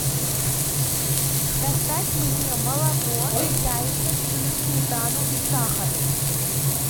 доставь мне молоко яйца сыр сметану и сахар